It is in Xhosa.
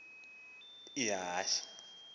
sela ukuba uy